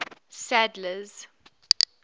sadler's